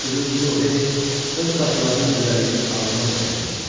Amma sözün düzü o heç öz saçlarının gözəlliyini ağlına da gətirmirdi.